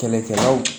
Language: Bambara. Kɛlɛkɛlaw